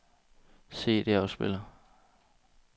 CD-afspiller